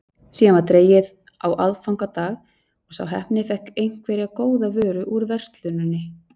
Síðan var dregið á aðfangadag og sá heppni fékk einhverja góða vöru úr versluninni.